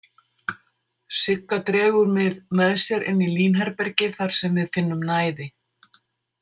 Sigga dregur mig með sér inn í línherbergið þar sem við finnum næði.